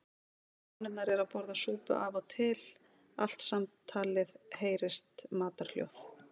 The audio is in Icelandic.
Konurnar eru að borða súpu og af og til allt samtalið heyrast matarhljóð.